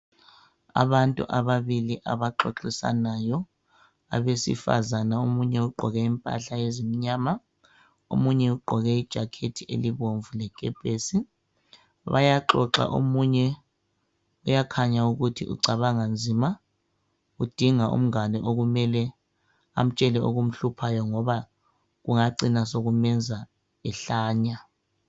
abantu ababili abaxoxisanayo abesifazana omunye ugqoke impahla ezimnyama omunye ugqoke ijacket elibomvu lekepesi bayaxoxa omunye uyakhanya ukuthi ucabanga nzima udinga umngane okumele amtshele okumhluphayo ngoba kungacina sekumenza ehlanya